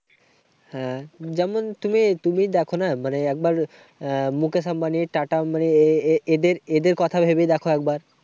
হ্যাঁ, যেমন তুমি তুমি দেখো না। মানে একবার আহ মুকেশ আম্বানি, টাটা মানে এ~এদের এদের কথা ভেবেই দেখো একবার।